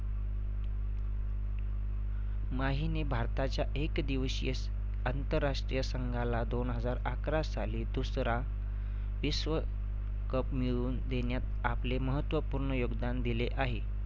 माहीने भारताच्या एक दिवशीय अंतरराष्ट्रीय संघाला दोन हजार अकरा साली दुसरा विश्व cup मिळवून देण्यात आपले महत्त्वपूर्ण योगदान दिले आहे.